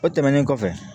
O tɛmɛnen kɔfɛ